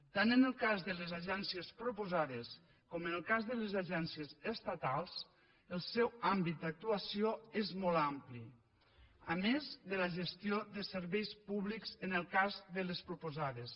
tant en el cas de les agències proposades com en el cas de les agències estatals el seu àmbit d’actuació és molt ampli a més de la gestió de serveis públics en el cas de les proposades